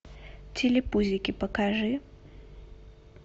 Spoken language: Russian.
телепузики покажи